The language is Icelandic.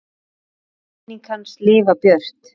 Megi minning hans lifa björt.